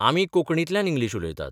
आमी कोंकणींतल्यान इंग्लीश उलयतात.